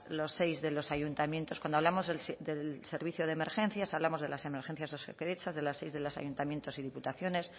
los seis de los ayuntamientos cuando hablamos del servicio de emergencias hablamos de las emergencias de osakidetza de las seis de los ayuntamientos y diputaciones